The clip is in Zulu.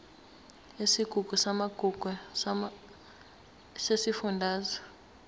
yesigungu samagugu sesifundazwe